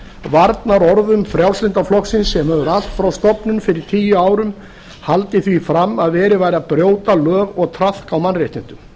varnaðarorðum frjálslynda flokksins sem hefur allt frá stofnun fyrir tíu árum haldið því fram að verið væri að brjóta lög og traðka á mannréttindum